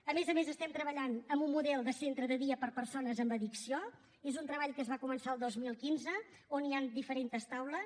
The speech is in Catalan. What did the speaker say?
a més a més estem treballant amb un model de centre de dia per a persones amb addicció és un treball que es va començar el dos mil quinze on hi han diferents taules